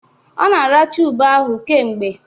Ọ na-aracha ube ahụ kemgbe